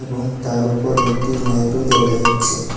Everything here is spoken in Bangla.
এবং তার ওপর একটি লাইট -ও দেখা যাচ্ছে।